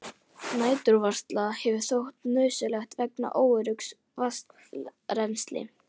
Næturvarsla hefur þótt nauðsynleg vegna óöruggs vatnsrennslis.